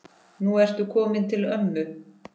Nú ertu kominn til ömmu.